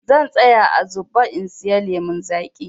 Zan tsaya a zuɓa in sayi lemun zaƙi.